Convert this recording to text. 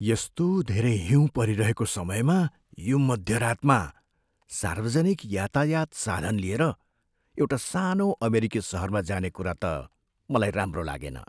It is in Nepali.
यस्तो धेरै हिउँ परिरहेको समयमा यो मध्यरातमा सार्वजनिक यातायात साधन लिएर एउटा सानो अमेरिकी सहरमा जाने कुरा त मलाई राम्रो लागेन।